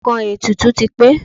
Nǹkan ètùtù ti pé.